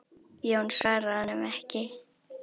Jón svaraði honum ekki.